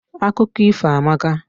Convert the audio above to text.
Akụkọ ifo amaka.